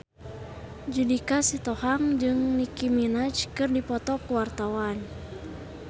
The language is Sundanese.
Judika Sitohang jeung Nicky Minaj keur dipoto ku wartawan